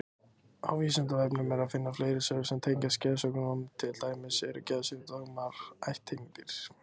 Á Vísindavefnum er að finna fleiri svör sem tengjast geðsjúkdómum, til dæmis: Eru geðsjúkdómar ættgengir?